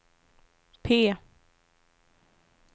P